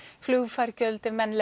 flugfargjöld ef menn